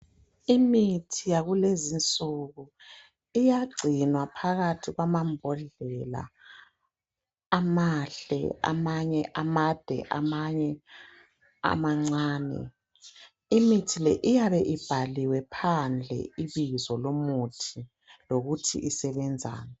Imithi yakulezinsuku iyagcinwa phakathi kwamambodlela amahle amanye amancane imithi iyabe ibhaliwe phandle ibizo lomuthi lokuthi usebenzani